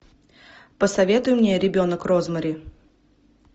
посоветуй мне ребенок розмари